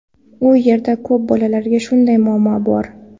U yerda ko‘p bolalarda shunday muammo bor.